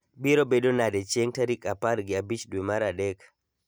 Biro bedo nade chieng' tarik apar gi abich dwe mar adek